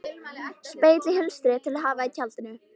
Spegill í hulstri til að hafa í tjaldinu.